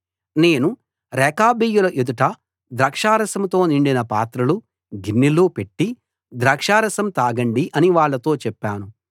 నేను రేకాబీయుల ఎదుట ద్రాక్షా రసంతో నిండిన పాత్రలు గిన్నెలు పెట్టి ద్రాక్షా రసం తాగండి అని వాళ్ళతో చెప్పాను